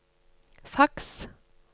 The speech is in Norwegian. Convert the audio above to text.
faks